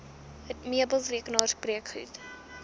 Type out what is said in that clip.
meubels rekenaars breekgoed